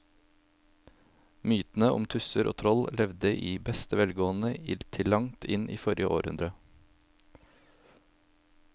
Mytene om tusser og troll levde i beste velgående til langt inn i forrige århundre.